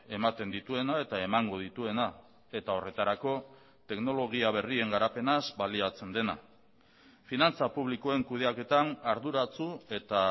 ematen dituena eta emango dituena eta horretarako teknologia berrien garapenaz baliatzen dena finantza publikoen kudeaketan arduratsu eta